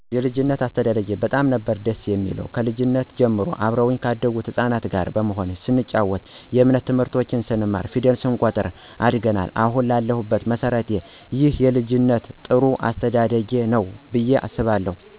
የልጂነት አስተዳደጊ በጣም ነበር ደስ የሚለው ከልጂነት ጀምሬ አብረውኚ ካደጉት ህጻናት ጋር በመሆን ስንጨዋት የእምነት ትምህርቶችን ስንማር ፌደል ስንቆጥር አድገናል አሀን ለሁበት መሠረቴ ይህ የልጂነት ጥሩ አስተዳደጌ ነው ብየ አስባለሁ።